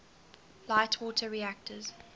light water reactors